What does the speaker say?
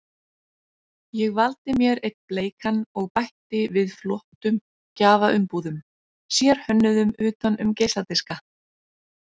Ég valdi mér einn bleikan og bætti við flottum gjafaumbúðum, sérhönnuðum utan um geisladiska.